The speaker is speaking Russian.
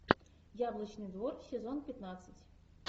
яблочный двор сезон пятнадцать